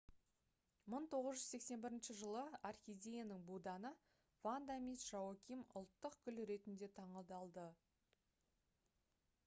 1981 жылы орхидеяның буданы ванда мисс жоаким ұлттық гүл ретінде таңдалды